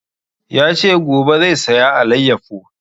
Ya ce gobe zai saya alayyafo